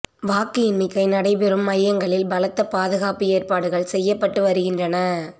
வாக்கு எண்ணிக்கை நடைபெறும் மையங்களில் பலத்த பாதுகாப்பு ஏற்பாடுகள் செய்யப்பட்டு வருகின்றன